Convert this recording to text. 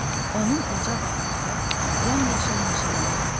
Onun uca dağları, yamyaşıl meşələri var.